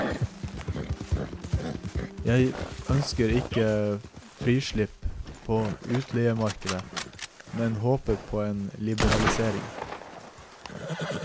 Jeg ønsker ikke frislipp på utleiemarkedet, men håper på en liberalisering.